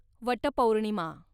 Vat Purnima